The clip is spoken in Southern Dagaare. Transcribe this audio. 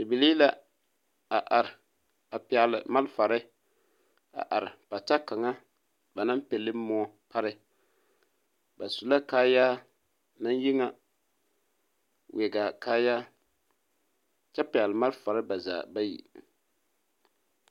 Bibilii la a are a pɛgle malfare a are pata kaŋa ba naŋ pille moɔ pare ba su la kaayaa naŋ yi ŋa wɛgaa kaayaa kyɛ pɛgle malfare ba zaa bayi.